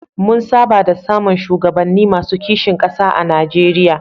Mun saba da samun shugabanni masu kishin ƙasa a Nijeriya.